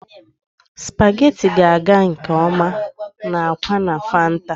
Spaghetti ga-aga nke ọma na akwa na fanta.